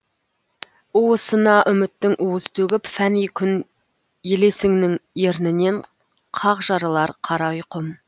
уысына үміттің уыз төгіп фәни күн елесіңнің ернінен қақ жарылар қара ұйқым